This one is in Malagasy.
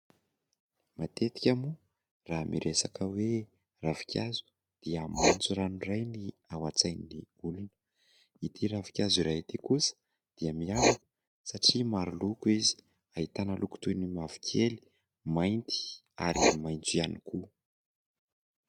Matetika moa raha miresaka hoe ravin-kazo dia maintso rano iray ny ao an-tsain'ny olona. Ity ravin-kazo iray ity kosa dia miavaka satria maro loko izy. Ahitana loko toy ny mavokely, mainty, ary maintso ihany koa.